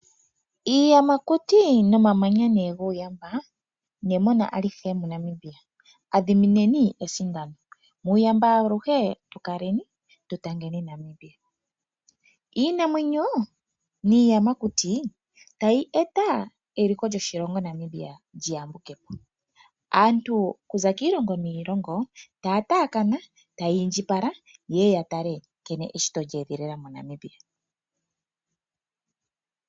Iiyamakuti nomamanya nee guuyamba nemona alihe moNamibia, adhimineni esindano, muuyamba aluhe tu kaleni, tu tangeni Namibia. Iinamwenyo niiyamakuti tayi eta eliko lyoshilongo Namibia lyi yambuke po. Aantu kuza kiilongo niilongo taya taakana, taya indjipala ye ye ya tale nkene eshito lye edhilila moNamibia